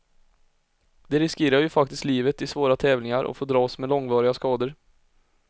De riskerar ju faktiskt livet i svåra tävlingar och får dras med långvariga skador.